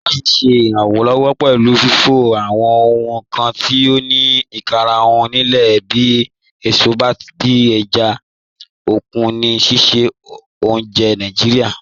Krakers ṣẹ iranlọwọ pẹlu fifọ awọn ohun kan ti o ni ikarahun lile bi èsọ tabi èjá okun ni sísẹ ọ̀unjẹ́ Naijiria.